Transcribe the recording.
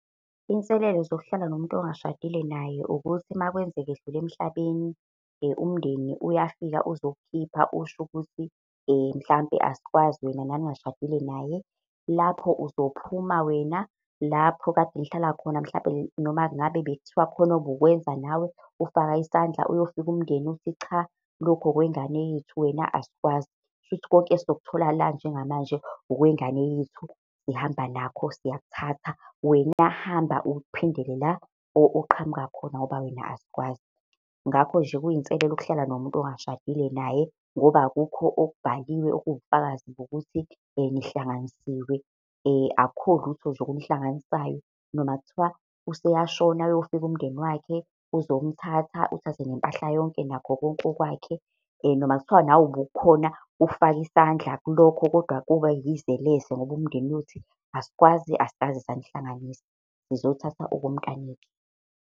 Inselelo zokuhlala nomuntu ongashadile naye ukuthi makwenzeka edlula emhlabeni, umndeni uyafika uzokukhipha, usho ukuthi mhlampe asikwazi wena naningashadile naye. Lapho uzophuma wena lapho kade nihlala khona mhlampe noma ngabe bekuthiwa khona obukwenza nawe ufaka isandla, uyofika umndeni uthi cha, lokhu okwengane yethu wena asikwazi, kushuthi konke esizokuthola la njengamanje okwengane yethu sihamba nakho siyakuthatha. Wena hamba uphindele la oqhamuka khona ngoba wena asikwazi. Ngakho nje kuyinselela ukuhlala nomuntu ongashadile naye, ngoba akukho okubhaliwe, okuwubufakazi bokuthi nihlanganisiwe akukho lutho nje okunihlanganisayo. Noma kuthiwa useyashona, uyofika umndeni wakhe uzomthatha, uthathe nempahla yonke nakho konke okwakhe. Noma kuthiwa nawe ubukhona ukufaka isandla kulokho kodwa koba yize leze ngoba umndeni uyothi asikwazi, asikaze sanihlanganisa, sizothatha okomntana wethu.